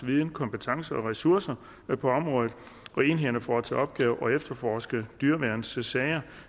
viden kompetencer og ressourcer på området og enhederne får til opgave at efterforske dyreværnssager